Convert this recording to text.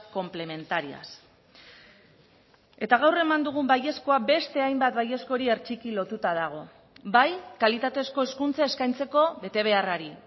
complementarias eta gaur eman dugun baiezkoa beste hainbat baiezkori hertsiki lotuta dago bai kalitatezko hezkuntza eskaintzeko betebeharrari